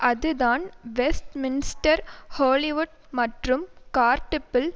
அதுதான் Westminster Hollywood மற்றும் கார்டிப்பில்